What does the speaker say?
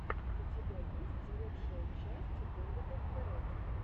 у тебя есть лучшая часть дэвида пэрэди